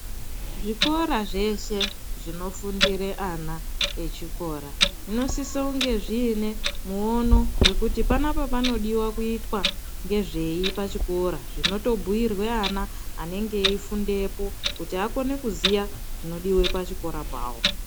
Zvikora zvese zvinofundire ana echikora zvinosise kunge zviine muono wekuti panapa panodiwa kuitwa ngezvei pachikora zvinotobhuyirwe ana anenge eifundepo kuti akone kuziya zvinodiwa pachikora pawo.